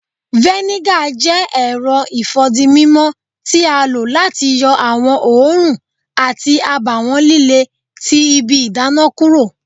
Vinegar jẹ èrò ifódímímó ti a lo láti yọ awọn oòrùn àti àbáwọn lílé tí ibí ìdána kúrò